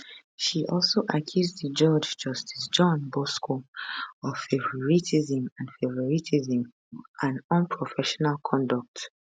she also accuse di judge justice john bosco of favouritism and favouritism and unprofessional conduct